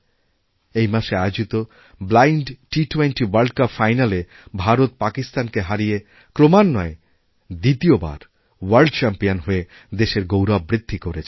এই মাসে আয়োজিত ব্লাইণ্ড টি২০ ওয়ার্ল্ডকাপ ফাইনালএ ভারত পাকিস্তানকে হারিয়ে ক্রমাণ্বয়ে দ্বিতীয় বার ওয়ার্ল্ডচ্যাম্পিয়ন হয়ে দেশের গৌরব বৃদ্ধি করেছে